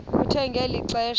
kuthe ngeli xesha